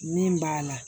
Min b'a la